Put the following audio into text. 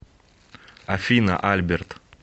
афина альберт